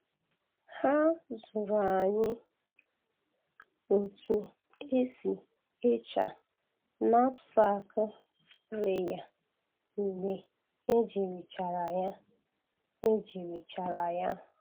Ha zụrụ anyị otu esi echa knapsack sprayer mgbe ejirichara ya. ejirichara ya.